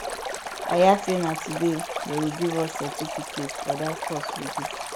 i hear say na today dey go give us certificate for dat course we do